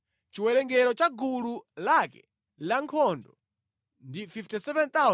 Chiwerengero cha gulu lake lankhondo ndi 57,400.